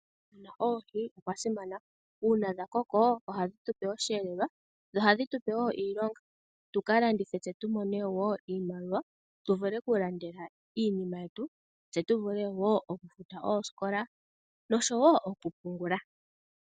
Oohi odha simana. Uuna dha koko, ohadhi tupe osheelelwa, ihadhi tupe wo iilonva, tu kalandithe, tse tu mone wo iimaliwa , tu vule okulanda iinima yetu, tse tu vule wo okufuta oosikola nosho woo oku pungula.